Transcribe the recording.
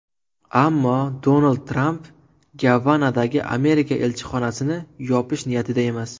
Ammo Donald Tramp Gavanadagi Amerika elchixonasini yopish niyatida emas.